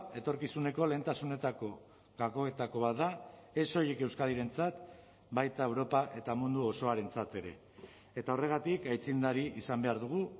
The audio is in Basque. etorkizuneko lehentasunetako gakoetako bat da ez soilik euskadirentzat baita europa eta mundu osoarentzat ere eta horregatik aitzindari izan behar dugu